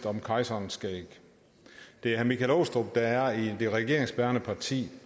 om kejserens skæg det er michael aastrup jensen der er i det regeringsbærende parti